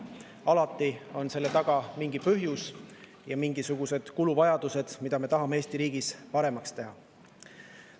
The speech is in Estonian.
Alati on selle taga mingi põhjus ja mingisugused kuluvajadused, sest me tahame midagi Eesti riigis paremaks teha.